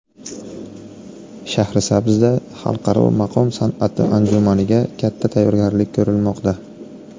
Shahrisabzda xalqaro maqom san’ati anjumaniga katta tayyorgarlik ko‘rilmoqda .